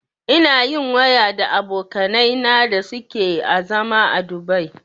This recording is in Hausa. Ina yin waya da abokanai na da suke a zama Dubai